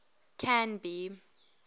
canby